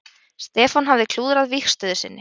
Stefán hafði klúðrað vígstöðu sinni.